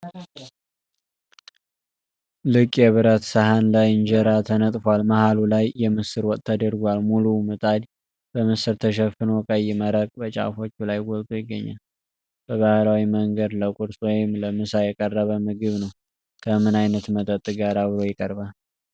ልቅ የብረት ሰሃን ላይ እንጀራ ተነጥፏል፤ መሃሉ ላይ የምስር ወጥ ተደርጓል። ሙሉው ምጣድ በምስር ተሸፍኖ ቀይ መረቅ በጫፎቹ ላይ ጎልቶ ይገኛል። በባህላዊ መንገድ ለቁርስ ወይም ለምሳ የቀረበ ምግብ ነው። ከምን አይነት መጠጥ ጋር አብሮ ይቀርባል?